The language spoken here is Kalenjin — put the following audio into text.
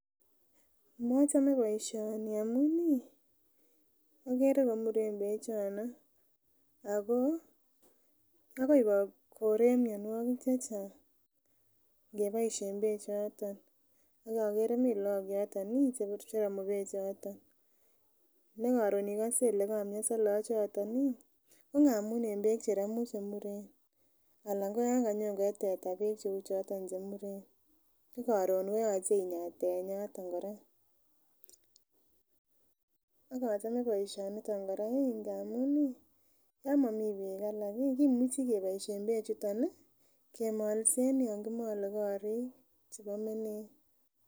Mochome boisioni amun ih okere komuren bechono ako akoi korek mionwogik chechang ngeboisien bechoton ak okere mi look yoton ih cherome beek choton nekoron ikose ile komionso look chuton ih ko ngamun en beek cheromu chemuren anan ko yan kanyokoe teta beek cheuvhoton chemuren ko koron ko yoche inyaa tenyatoton kora ak achome boisioniton kora ngamun ih yon momii beek alak ih kimuchi keboisien beek chuton ih kemolsen yan kimole korik chebo menet.